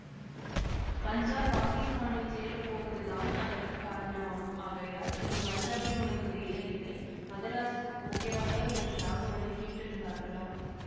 பஞ்சாப் பாகிஸ்தானில் சேர போவதுதான் அதற்கு காரணமாம் ஆகையால் இனி பஞ்சாப்பில் உனக்கு வேலை இல்லை மதராஸுக்குப் போகிறாயா என்று ராகவனைக் கேட்டிருந்தார்களாம்